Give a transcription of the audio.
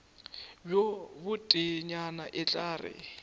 bjo boteenyana e tla re